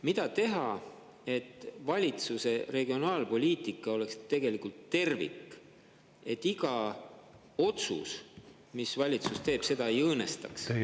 Mida teha, et valitsuse regionaalpoliitika oleks tervik, et iga otsus, mille valitsus teeb, seda ei õõnestaks?